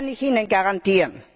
Das kann ich Ihnen garantieren!